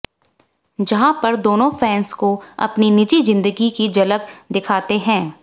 जहां पर दोनों फैंस को अपनी निजी जिंदगी की झलक दिखाते हैं